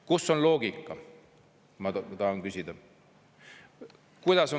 Kus on loogika, ma tahan küsida.